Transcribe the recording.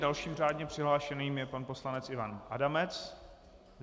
Dalším řádně přihlášeným je pan poslanec Ivan Adamec.